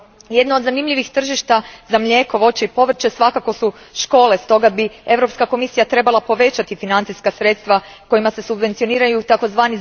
Jedno od zanimljivih tržišta za mlijeko, voće i povrće svakako su škole, stoga bi Europska komisija trebala povećati financijska sredstva kojima se subvencioniraju tzv.